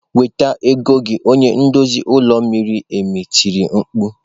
"Weta ego gị" onye nduzi olu miri emi tiri mkpu.